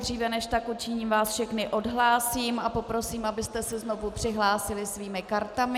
Dříve než tak učiním, vás všechny odhlásím a poprosím, abyste se znovu přihlásili svými kartami.